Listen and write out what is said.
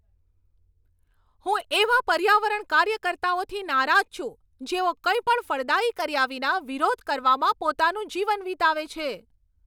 હું એવા પર્યાવરણ કાર્યકર્તાઓથી નારાજ છું, જેઓ કંઈ પણ ફળદાયી કર્યા વિના, વિરોધ કરવામાં પોતાનું જીવન વિતાવે છે.